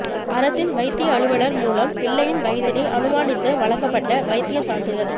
அரசின் வைத்திய அலுவலர் மூலம் பிள்ளையின் வயதினை அனுமானித்து வழங்கப்பட்ட வைத்திய சான்றிதழ்